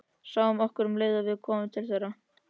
Sáu okkur um leið og við komum til þeirra.